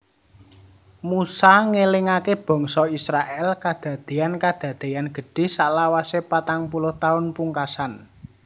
Musa ngélingaké bangsa Israèl kadadéyan kadadéyan gedhé salawase patang puluh taun pungkasan